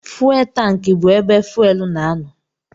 Fuwel tankị bụ ebe fuwel na-anọ.